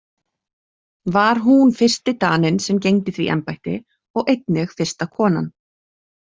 Var hún fyrsti Daninn sem gegndi því embætti og einnig fyrsta konan.